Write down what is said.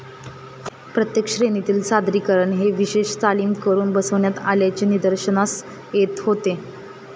प्रत्येक श्रेणीतील सादरीकरण हे विशेष तालीम करून बसविण्यात आल्याचे निदर्शनास येत होते.